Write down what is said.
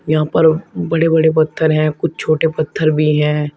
यहां पर बड़े बड़े पत्थर हैं कुछ छोटे पत्थर भी हैं।